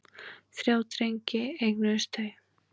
Þrjá drengi eignuðust þau.